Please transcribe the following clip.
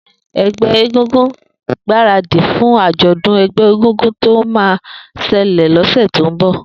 Egbẹ égúngún ti gbárádi fún ájọ̀dún égúngún tó mà ṣẹlẹ lọsẹ tó n bọ